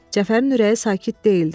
Cəfərin ürəyi sakit deyildi.